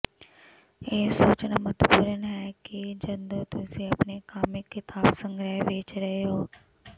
ਇਹ ਸੋਚਣਾ ਮਹੱਤਵਪੂਰਨ ਹੈ ਕਿ ਜਦੋਂ ਤੁਸੀਂ ਆਪਣੇ ਕਾਮਿਕ ਕਿਤਾਬ ਸੰਗ੍ਰਹਿ ਵੇਚ ਰਹੇ ਹੋ